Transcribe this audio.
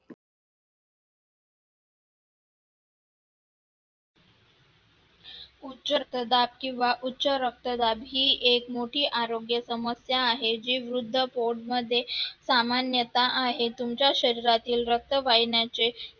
उच्च रक्तदाब किंवा उच्च रक्तदाब हे एक मोठी आरोग्यसमस्या आहे जी वृद्ध प्रौढ मध्ये सामान्यता आहे. तुमच्या शरीरातील रक्तवाहिन्यांचे